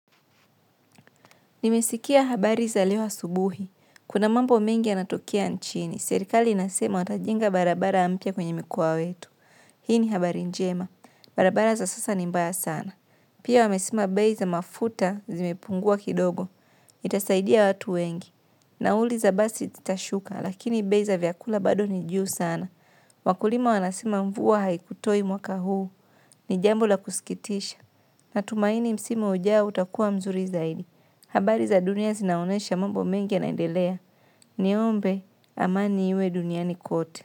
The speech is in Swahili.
Nimesikia habari za leo subuhi. Kuna mambo mengi yanatokea nchini. Serikali inasema watajenga barabara mpyaa kwenye mkoa wetu. Hii ni habari njema. Barabara za sasa ni mbaya sana. Pia wamesema bei za mafuta zimepungua kidogo. Itasaidia watu wengi. Nauli za basi zitashuka lakini bei za vyakula bado ni juu sana. Wakulima wanasema mvua haikutoi mwaka huu. Ni jambo la kusikitisha. Natumaini msimu ujao utakua mzuri zaidi. Habari za dunia zinaonesha mambo mengi yanaendelea. Niombe amani iwe duniani kote.